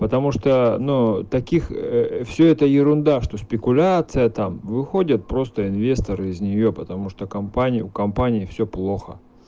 потому что ну таких все это ерунда что спекуляция там выходит просто инвесторы из нее потому что компания у компании все плохо